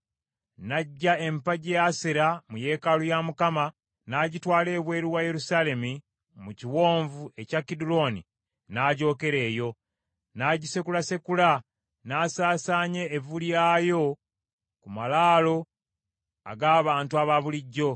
N’aggya empagi ya Asera mu yeekaalu ya Mukama , n’agitwala ebweru wa Yerusaalemi mu kiwonvu ekya Kiduloni, n’agyokera eyo. N’agisekulasekula n’asaasaanya evvu lyayo ku malaalo ag’abantu abaabulijjo.